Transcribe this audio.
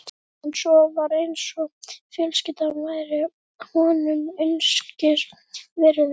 En svo var eins og fjölskyldan væri honum einskis virði.